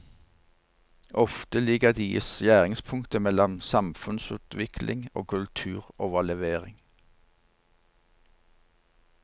Ofte ligger de i skjæringspunktet mellom samfunnsutvikling og kulturoverlevering.